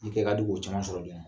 I kɛ ka di k'o caman sɔrɔ joona.